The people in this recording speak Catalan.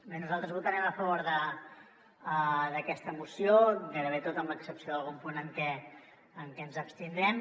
bé nosaltres votarem a favor d’aquesta moció gairebé tot amb l’excepció d’algun punt en què ens abstindrem